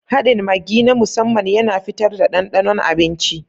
Haɗin Maggi na musamman yana fitar da ɗanɗanon abinci.